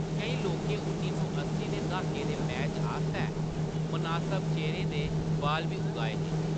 केईं लोकें उन्नी सौ अस्सी दे द्हाके दे मैच आस्तै मनासब चेह्‌रे दे बाल बी उगाए हे।